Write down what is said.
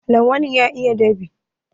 Lawan ya iya dab'i.